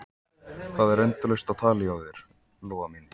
Það er endalaust á tali hjá þér, Lóa mín.